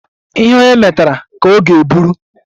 Ihe onye metara ka ọ ga-eburu